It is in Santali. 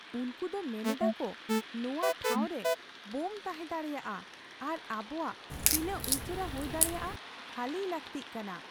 ᱩᱝᱠᱩ ᱫᱚ ᱢᱮᱱᱮᱫᱟ ᱠᱩ ᱱᱚᱣᱟ ᱴᱷᱟᱸᱣ ᱨᱮ ᱵᱳᱢ ᱛᱟᱦᱮᱸ ᱫᱟᱲᱮᱭᱟᱜᱼᱟ ᱟᱨ ᱟᱵᱩᱣᱟᱜ ᱛᱤᱱᱟᱹᱜ ᱩᱥᱟᱹᱨᱟ ᱦᱩᱭ ᱫᱟᱲᱮᱭᱟᱜ ᱠᱷᱟᱹᱞᱤᱭ ᱞᱟᱹᱜᱛᱤ ᱠᱟᱱᱟ ᱾